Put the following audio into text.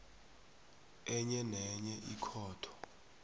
enye nenye ikhotho